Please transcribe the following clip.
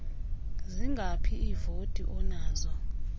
zingaphi iivoti onazo